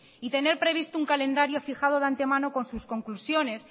y tener previsto un calendario fijado de antemano con sus conclusiones